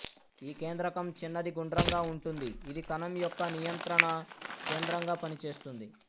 ఈ కేంద్రకం చిన్నది గుండ్రంగా ఉంటుంది ఇది కణం యొక్క నియంత్ర్రణ కేంద్రంగా పనిచేస్తుంది